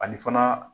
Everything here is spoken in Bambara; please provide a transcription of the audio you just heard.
Ani fana